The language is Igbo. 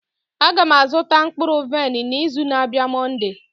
Aga m azụta mkpụrụ vaịn n'izu na-abịa Monday.